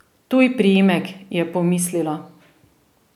Tuj priimek, je pomislila.